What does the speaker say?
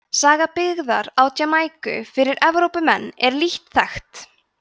saga byggðar á jamaíku fyrir komu evrópumanna er lítt þekkt